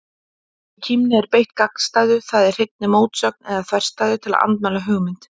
Í kímni er beitt gagnstæðu, það er hreinni mótsögn eða þverstæðu, til að andmæla hugmynd.